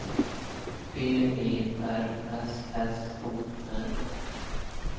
P E R S S O N